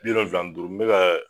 Biwolonwula ni duuru n be ka